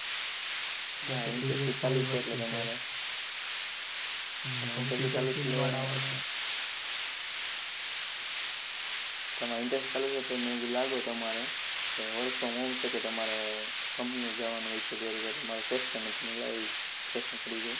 તમારે internship ચાલુ છે એટલે લાગ્યું મને કે તમારે work from home છે ક તમારે company જવાનું હોય છે એ રીતે મારો question અમે હતો મારો તો કું લાવ question કરી જોવું